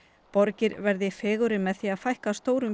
borgir verði fegurri með því að fækka stórum